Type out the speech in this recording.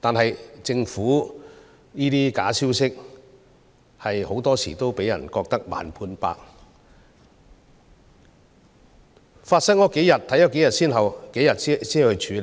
然而，對於這些假消息，政府很多時候令人感到"慢半拍"，當假消息散播數天後才加以處理，